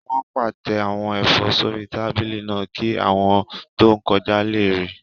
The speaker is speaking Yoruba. Wọ́n pàtẹ àwọn ẹ̀fọ́ sórí tábìlì náà kí àwọn tó ń kọjá lè rà